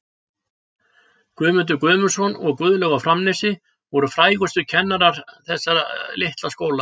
Guðmundur Guðmundsson og Guðlaug á Framnesi voru frægustu kennarar þessa litla skóla.